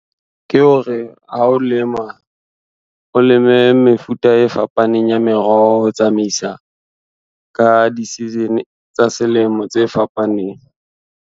Ke hore, ha o lema, o leme mefuta e fapaneng ya meroho ho tsamaisa ka di-season tsa selemo tse fapaneng.